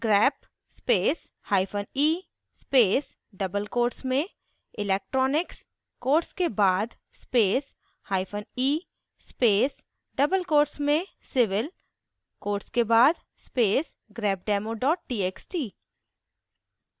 grep space hyphen e space double quotes में electronics quotes के बाद space hyphen e space double quotes में civil quotes के बाद space grepdemo txt